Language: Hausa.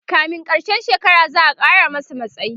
kamin karshen shekara za'a Kara masa matsayi